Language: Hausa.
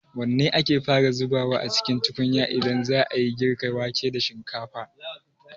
Wanne ake fara zubawa a cikin tukunya idan za a yi girka wake da shinkafa?